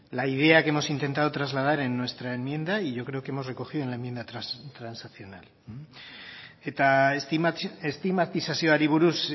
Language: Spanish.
la idea que hemos intentado trasladar en nuestra enmienda y yo creo que hemos recogido en la enmienda transaccional eta estigmatizazioari buruz